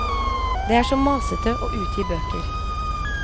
Det er så masete å utgi bøker.